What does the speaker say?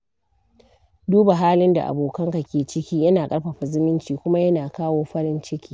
Duba halin da abokanka ke ciki yana ƙarfafa zumunci kuma yana kawo farin ciki.